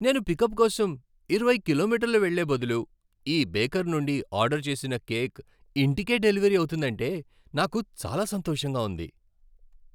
నేను పికప్ కోసం ఇరవై కిలోమీటర్లు వెళ్ళే బదులు ఈ బేకర్ నుండి ఆర్డర్ చేసిన కేక్ ఇంటికే డెలివరీ అవుతుందంటే నాకు చాలా సంతోషంగా ఉంది.